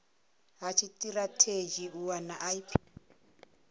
ha tshitirathedzhi u wana ip